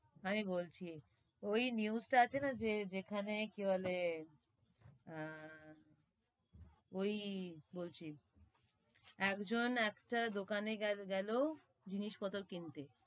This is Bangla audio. আমি বলছি, ওই news টা আছে না, যে যেখানে কি বলে আহ ওই বলছি, এক জন একটা দোকানে গেলো জিনিস পত্র কিনতে,